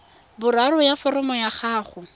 boraro ya foromo ya gago